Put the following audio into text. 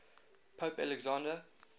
pope alexander